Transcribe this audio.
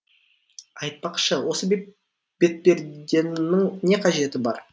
айтпақшы осы бетперденің не қажеті бар